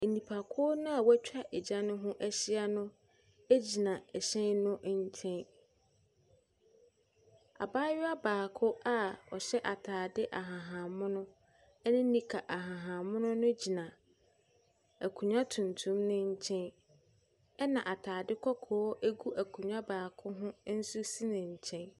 Nnipakuo no a wɔatwa gya no ho ahyia no gyina hyɛn no nkyɛn. Abayewa baako a ɔhyɛ atade ahahan mono ne nika ahahan mono no gyina akonnwa tuntum no nkyɛn, ɛnna atade kɔkɔɔ gu akonnwa baako ho nso si ne nkyɛn.